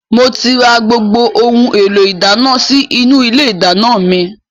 Mo ti rà gbogbo ohun èlò ìdáná sì inú ilé ìdáná mi.